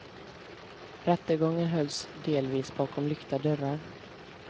Rättegången hölls delvis bakom lyckta dörrar.